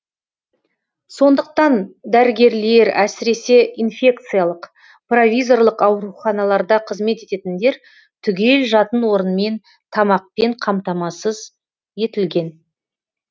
сондықтан дәрігерлер әсіресе инфекциялық провизорлық ауруханаларда қызмет ететіндер түгел жатын орынмен тамақпен қамтамасыз етілген